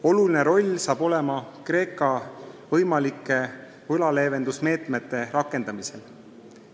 Oluline roll saab olema Kreeka võimalike võlaleevendusmeetmete rakendamisel.